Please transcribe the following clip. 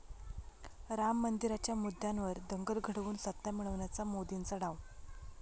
राम मंदिराच्या मुद्द्यावर दंगल घडवून सत्ता मिळवण्याचा मोदींचा डाव